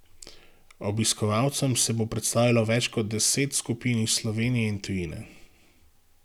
Obiskovalcem se bo predstavilo več kot deset skupin iz Slovenije in tujine.